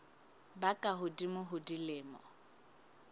ba ka hodimo ho dilemo